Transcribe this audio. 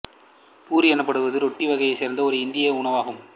பூரி எனப்படுவது ரொட்டி வகையைச் சேர்ந்த ஒரு இந்திய உணவாகும்